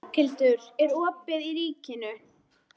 Berghildur, er opið í Ríkinu?